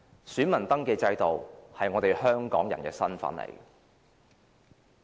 選民登記制度可體現我們香港人的身份。